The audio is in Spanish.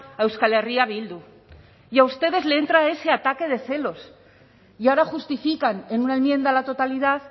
a euskal herria bildu y a ustedes les entra ese ataque de celos y ahora justifican en una enmienda a la totalidad